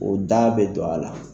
O da bɛ don a la.